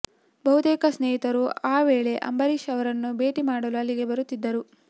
ಬಹುತೇಕ ಸ್ನೇಹಿತರು ಆ ವೇಳೆ ಅಂಬರೀಷ್ ಅವರನ್ನು ಭೇಟಿ ಮಾಡಲು ಅಲ್ಲಿಗೆ ಬರುತ್ತಿದ್ದರು